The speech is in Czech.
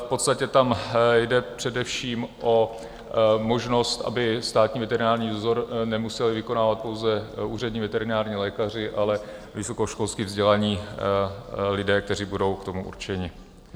V podstatě tam jde především o možnost, aby státní veterinární dozor nemuseli vykonávat pouze úřední veterinární lékaři, ale vysokoškolsky vzdělání lidé, kteří budou k tomu určeni.